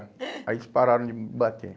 Aí eles pararam de me bater.